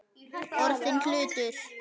Orðinn hlutur.